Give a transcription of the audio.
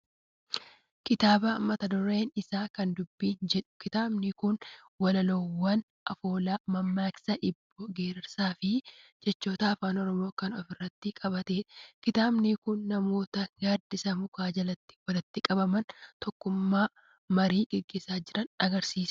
Kitaaba mata dureen isaa " kana dubbiin" jedhu. Kitaabni kun walaloowwan afoolaa, mammaaksa, hibboo, geerarsaa fi jechamoota afaan Oromoo kan of keessatti qabatedha. Kitaabni kun namoota gaaddisa mukaa jalatti walitti qabamanii tokkummaadhaan marii gaggeessaa jiran argisiisa.